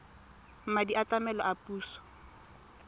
madi a tlamelo a puso